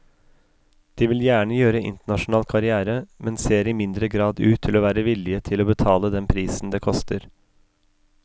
De vil gjerne gjøre internasjonal karrière, men ser i mindre grad ut til å være villige til å betale den prisen det koster.